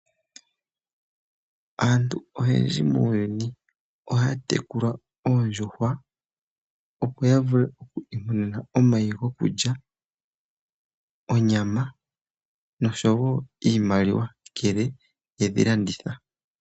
Aantu oyendji muuyuni ohaya tekula oondjuhwa opo yavule oku imonena omayi gokulya, onyama nosho wo iimaliwa ngele yedhilanditha.